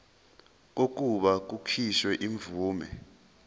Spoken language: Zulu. kokuba kukhishwe imvume